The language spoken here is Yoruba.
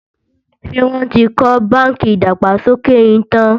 ṣé wón tí kò bánkì ìdàgbàsókè yín tán?